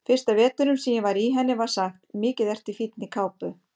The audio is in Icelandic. Fyrsta veturinn sem ég var í henni var sagt: Mikið ertu í fínni kápu